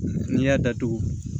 N'i y'a datugu